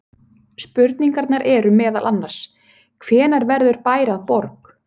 Spurningarnar eru meðal annars: Hvenær verður bær að borg?